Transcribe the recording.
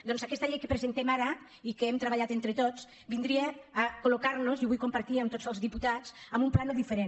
doncs aquesta llei que presentem ara i que hem treballat entre tots vindria a col·partir amb tots els diputats en un plànol diferent